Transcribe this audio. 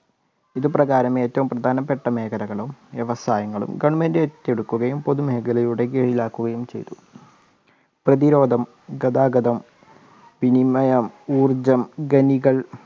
ഇത് പ്രകാരം ഏറ്റവും പ്രധാനപ്പെട്ട മേഖലകളും വ്യവസായങ്ങളും government ഏറ്റെടുക്കുകയും പൊതുമേഖലകളുടെ കീഴിലാക്കുകയും ചെയ്തു. പ്രതിരോധം, ഗതാഗതം, വിനിമയം, ഊർജം, ഖനികൾ